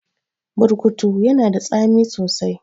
Burkutu yana da tsami sosai